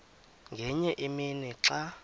ngenye imini xa